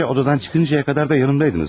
Ayrıca, otaqdan çıxıncaya qədər də yanımdaydınız.